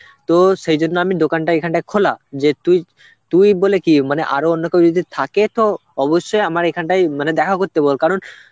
তো সেই জন্য আমি দোকানটা এইখানটা খোলা যে তুই তুই বলে কি মানে আরো অন্য কেউ যদি থাকে তো অবশ্যই আমার এখানটায় মানে দেখা করতে বল কারণ